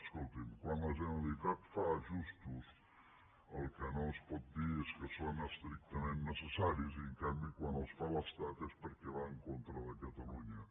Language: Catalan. escolti’m quan la generalitat fa ajustos el que no es pot dir és que són estrictament necessaris i en canvi quan els fa l’estat és perquè va en contra de catalunya